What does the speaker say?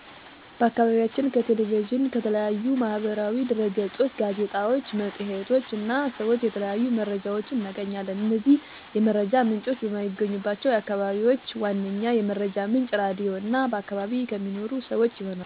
በአከባቢያችን ከ ቴሌቪዥን፣ ከተለያዩ ማህበራዊ ድህረገጾች፣ ጋዜጣዎች፣ መፅሔቶች እና ሰዎች የተለያዩ መረጃዎች እናገኛለን። እነዚህ የመረጃ ምንጮች በማይገኙባቸው አከባቢዎች ዋነኛ የመረጃ ምንጭ ራድዮ እና በአከባቢ ከሚኖሩ ሰወች ይሆናል። ቴሌቪዥን ከተለያዩ ዜና አቅርቦት ሙያ እና ታማኝ የመረጃ ምንጭ ባላቸው በዘርፉ በተመረቁ ሰወች የሚቀርብ በመሆኑ እና ለህዝቡ ተደራሽ ከመሆኑ በፊት በሚገባ መረጃውን በመመርመር እና እውነታዊነቱን በማጤን መርምረው ለህዝቡ በማቅረባቸው ተመራጭ የመረጃ ምንጭ ያረገዋል።